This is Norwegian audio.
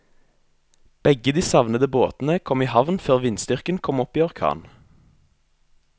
Begge de savnede båtene kom i havn før vindstyrken kom opp i orkan.